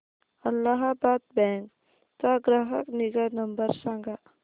Allahabad bank चा ग्राहक निगा नंबर सांगा